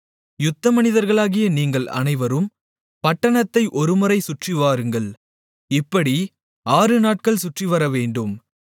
யுத்தமனிதர்களாகிய நீங்கள் அனைவரும் பட்டணத்தை ஒருமுறை சுற்றி வாருங்கள் இப்படி ஆறுநாட்கள் சுற்றிவரவேண்டும்